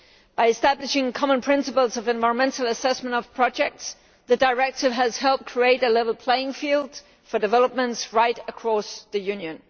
By establishing common principles for the environmental assessment of projects, the Directive has helped create a level playing field for developments right across the Union.